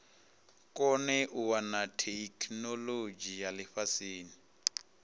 kone u wana theikinolodzhi lifhasini